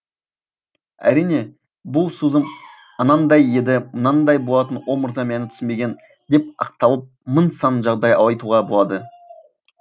әрине бұл сөзім анандай еді мынандай болатын о мырза мені түсінбеген деп ақталып мың сан жағдай айтуға болады